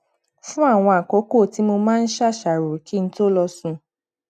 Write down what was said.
fún àwọn àkókò tí mo máa n ṣàṣàrò kí n tó lọ sùn